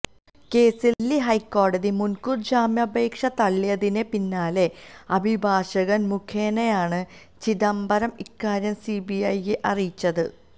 കേസില് ദില്ലി ഹൈക്കോടതി മുന്കൂര് ജാമ്യാപേക്ഷ തള്ളിയതിന് പിന്നാലെ അഭിഭാഷകന് മുഖേനയാണ് ചിദംബരം ഇക്കാര്യം സിബിഐയെ അറിയിച്ചത്